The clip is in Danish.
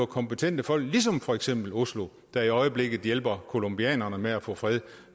kompetente folk ligesom for eksempel oslo der i øjeblikket hjælper colombianerne med at få fred